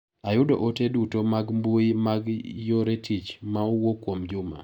Ayudo ote duto mag mbui mag yore tich ma owuok kuomJuma